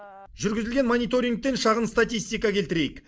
жүргізілген мониторингтен шағын статистика келтірейік